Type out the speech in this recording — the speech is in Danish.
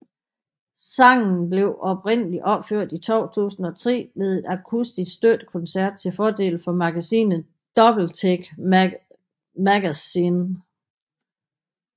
Sangen blev oprindeligt opført i 2003 ved en akustisk støttekoncert til fordel for magasinet Doubletake Magazine